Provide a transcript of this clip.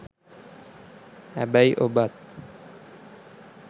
හැබැයි ඔබත්